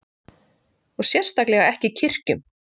Og sérstaklega ekki í kirkjum.